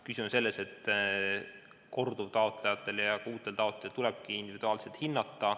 Küsimus on selles, et korduvtaotlejatel ja ka uutel taotlejatel tulebki puudeastet individuaalselt hinnata.